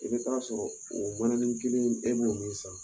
I bɛ taa sɔrɔ oo mananin kelen bɛ nɔ san